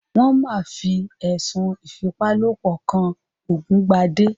Wón máa fi ẹ̀sùn ìfipálopọ̀ kan Ògúngbadé